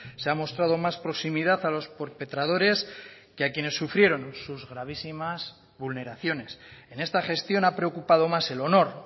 se ha mostrado más proximidad a los perpetradores que a quienes sufrieron sus gravísimas vulneraciones en esta gestión ha preocupado más el honor